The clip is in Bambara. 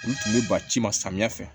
Olu tun bɛ ba ci ci ma samiya fɛ